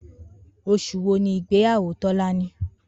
Os̩ù wo ni ìgbéyàwó Tó̩láni?